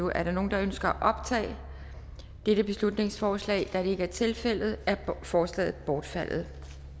er der nogen der ønsker at optage dette beslutningsforslag da det ikke er tilfældet er forslaget bortfaldet